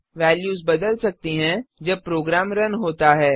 values बदल सकती हैं जब प्रोग्राम रन होता है